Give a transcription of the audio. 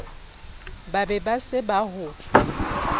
be ba se ba ho